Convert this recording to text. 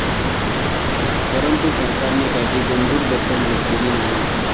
परंतु सरकारने त्याची गंभीर दखल घेतलेली नाही.